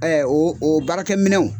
o o baarakɛminɛnw